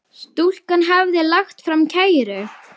Stúlkan hafði lagt fram kæru.